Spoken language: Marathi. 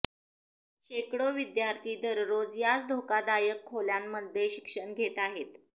शेकडो विद्यार्थी दररोज याच धोकादायक खोल्यांमध्ये शिक्षण घेत आहेत